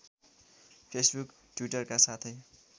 Facebook टि्वटरका साथै